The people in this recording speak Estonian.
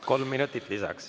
Kolm minutit lisaks.